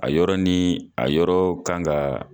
A yɔrɔ ni a yɔrɔ kanga